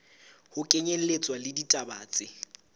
ho kenyelletswa le ditaba tse